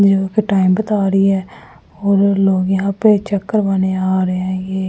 जो कि टाइम बता रही है और लोग यहां पे चेक करवाने आ रहे हैं ये--